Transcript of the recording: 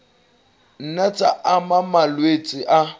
nna tsa ama malwetse a